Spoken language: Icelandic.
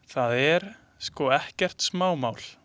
Það er sko ekkert smámál.